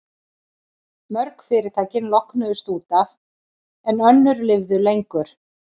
Mörg fyrirtækin lognuðust út af, en önnur lifðu lengur.